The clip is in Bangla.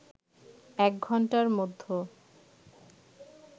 এক ঘণ্টার মধ্য